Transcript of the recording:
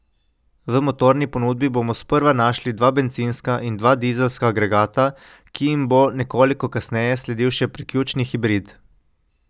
V motorni ponudbi bomo sprva našli dva bencinska in dva dizelska agregata, ki jim bo nekoliko kasneje sledil še priključni hibrid.